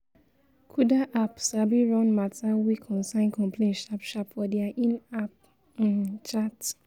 kuda app sabi run mata wey concern complain sharp sharp for dia in-app um chat